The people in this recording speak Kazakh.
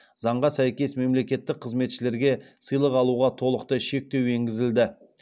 заңға сәйкес мемлекеттік қызметшілерге сыйлық алуға толықтай шектеу енгізілді